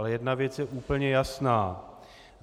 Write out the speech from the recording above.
Ale jedna věc je úplně jasná.